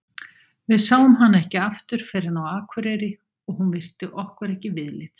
Við sáum hana ekki aftur fyrr en á Akureyri og hún virti okkur ekki viðlits.